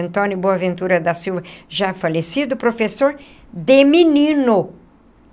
Antônio Boaventura da Silva, já falecido, professor de menino.